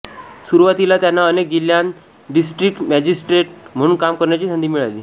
सुरुवातीला त्यांना अनेक जिल्ह्यांत डिस्ट्रिक्ट मजिस्ट्रेट म्हणून काम करण्याची संधी मिळाली